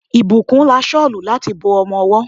Ìbùkún ra Ṣọ́lù láti bo ọmọwọ́.